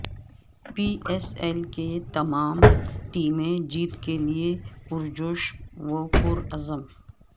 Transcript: پی S L کی تمام ٹیمیں جیت کیلئے پرجوش و پرعزم